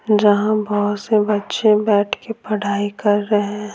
जहाँ बहुत से बच्चे बैठ के पढ़ाई कर रहे हैं।